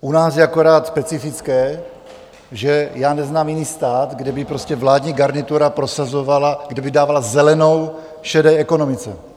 U nás je akorát specifické, že já neznám jiný stát, kde by prostě vládní garnitura prosazovala, kde by dávala zelenou šedé ekonomice.